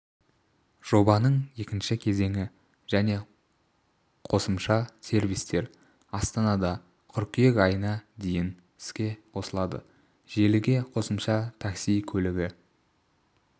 жобаның екінші кезеңі және қосымша сервистер астанада қыркүйек айына дейін іске қосылады желіге қосымша такси көлігі